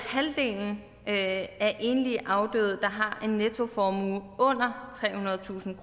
halvdelen af enlige afdøde der har en nettoformue under trehundredetusind